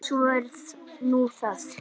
Svo er nú það.